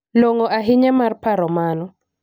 Long'o ahinya mar paro mano.